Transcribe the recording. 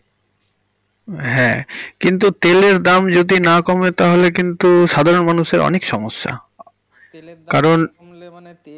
হ্যাঁ কিন্তু তেলের দাম যদি না কমে তাহলে কিন্তু সাধারণের মানুষের অনেক সমস্যা, তেলের দাম কমলে মানে~, কারণ তেলের দাম কমলে মানে।